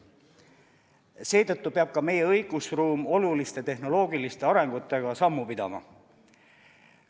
Seetõttu peab ka meie õigusruum oluliste tehnoloogiliste arengutega sammu pidama.